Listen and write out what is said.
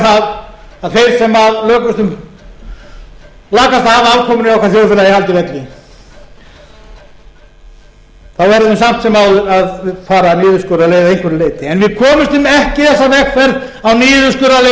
forgang að halda velferðarkerfinu heilbrigðiskerfinu og að reyna að tryggja að þeir sem lakast hafa afkomuna í okkar þjóðfélagi haldi velli þá verðum við samt sem áður að fara niðurskurðarleið að einhverju leyti en